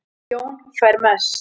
Jón fær mest